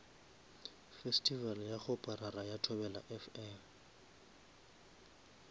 festival ya kgoparara ya thobelafm